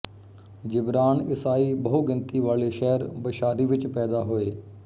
Gibran ਈਸਾਈ ਬਹੁਗਿਣਤੀ ਵਾਲੇ ਸ਼ਹਿਰ ਬਸ਼ਾਰੀ ਵਿੱਚ ਪੈਦਾ ਹੋਏ